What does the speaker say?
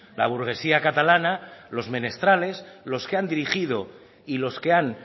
la burguesía catalana los menestrales los que han dirigido y los que han